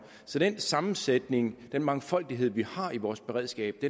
så den sammensætning den mangfoldighed vi har i vores beredskab